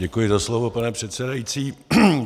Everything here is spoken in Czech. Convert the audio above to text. Děkuji za slovo, pane předsedající.